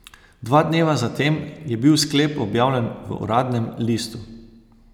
Dva dneva zatem je bil sklep objavljen v uradnem listu.